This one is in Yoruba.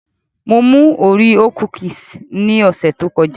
Mo mú Oreo kúkìsì ní ọ̀sẹ̀ tó kọjá